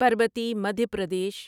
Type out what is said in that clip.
Parbati Madhya Pradesh